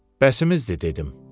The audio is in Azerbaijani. Bəsimizdir, dedi.